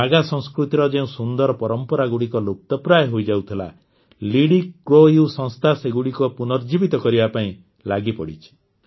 ନାଗା ସଂସ୍କୃତିର ଯେଉଁ ସୁନ୍ଦର ପରମ୍ପରାଗୁଡ଼ିକ ଲୁପ୍ତପ୍ରାୟ ହୋଇଯାଉଥିଲା ଲିଡିକ୍ରୋୟୁ ସଂସ୍ଥା ସେଗୁଡ଼ିକୁ ପୁନର୍ଜୀବିତ କରିବା ପାଇଁ ଲାଗିପଡ଼ିଛି